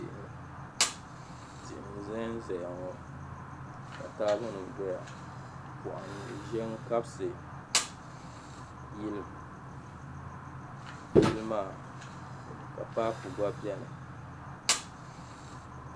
tihi n-zanzaya ŋɔ ka taabonima dɔya pɔhim ʒe n-kabisi yili maa ka paapu gba beni